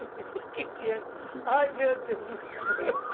que tinham Ai, meu Deus do céu.